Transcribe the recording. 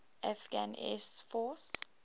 afghan air force